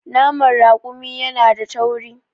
Naman raƙumi yana da tauri.